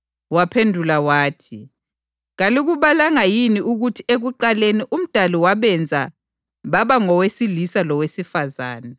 Waphendula wathi, “Kalikubalanga yini ukuthi ekuqaleni uMdali ‘wabenza baba ngowesilisa lowesifazane,’ + 19.4 UGenesisi 1.27